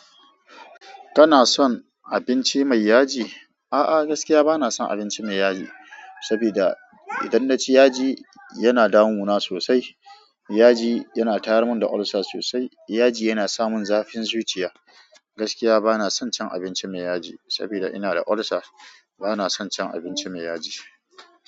Kana son abinci mai yaji? A'a, gaskiya bana son abinci mai yaji, saboda idan na ci yaji yana damuna sosai. Yaji yana tayarmun da ulcer sosai. Yaji yana samun zafin zuciya. Gaskiya bana son cin abinci mai yaji saboda ina da ulcer. Bana son cin abinci mai yaji.